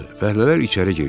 Fəhlələr içəri girdi.